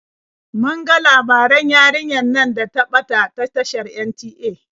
Mun ga labaran yarinyar nan da ta ɓata a tashar NTA.